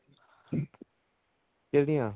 ਕਿਹੜੀਆਂ